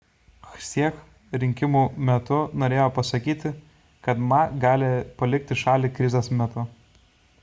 hsieh rinkimų metu norėjo pasakyti kad ma gali palikti šalį krizės metu